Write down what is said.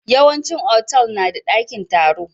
Yawan cin Otal nada dakin taro